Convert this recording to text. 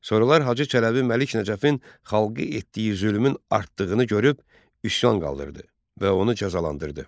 Sonralar Hacı Çələbi Məlik Nəcəfin xalqı etdiyi zülmün artdığını görüb üsyan qaldırdı və onu cəzalandırdı.